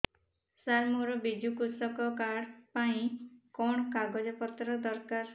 ସାର ମୋର ବିଜୁ କୃଷକ କାର୍ଡ ପାଇଁ କଣ କାଗଜ ପତ୍ର ଦରକାର